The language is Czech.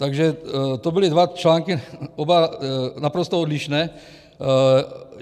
Takže to byly dva články, oba naprosto odlišné.